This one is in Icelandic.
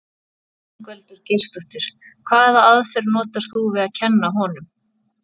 Ingveldur Geirsdóttir: Hvaða aðferð notar þú við að kenna honum?